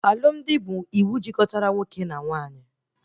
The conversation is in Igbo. Alụmdi bụ iwu jikọtara nwoke na nwaanyị